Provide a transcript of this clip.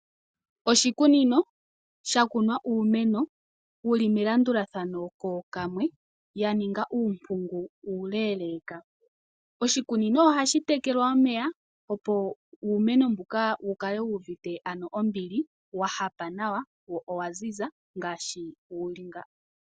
Oshikunino shakunwa uumeno wuli melandulathano kookamwe yaninga uumpungu uule. Oshikunino ohashi tekelwa omeya opo uumeno mbuka wukale wuuvite ano ombili wahapa nawa wo owa ziza ngaashi wuli nga.